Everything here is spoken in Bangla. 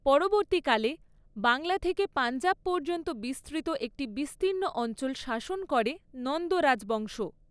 পরবর্তীকালে, বাংলা থেকে পাঞ্জাব পর্যন্ত বিস্তৃত একটি বিস্তীর্ণ অঞ্চল শাসন করে নন্দ রাজবংশ।